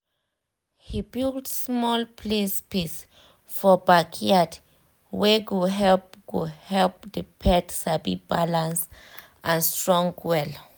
he build small play space for backyard wey go help go help the pet sabi balance and strong well